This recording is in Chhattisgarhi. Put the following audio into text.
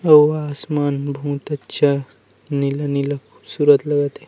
अउ आसमान में बहुत अच्छा नीला-नीला खूबसूरत लगत हे।